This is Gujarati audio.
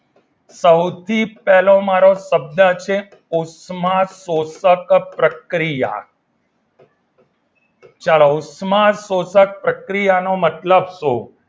સૌથી પહેલો મારો શબ્દ છે ઉષ્માશોષક પ્રક્રિય ચાલો ઉષ્માશોષક પ્રક્રિયાનો મતલબ શું?